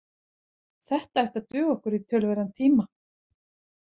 Þetta ætti að duga okkur í töluverðan tíma